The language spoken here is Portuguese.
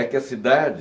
É que a cidade,